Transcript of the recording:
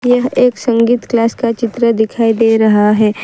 यह एक संगीत क्लास का चित्र दिखाई दे रहा है।